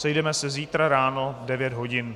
Sejdeme se zítra ráno v 9 hodin.